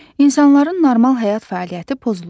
İnsanların normal həyat fəaliyyəti pozulur.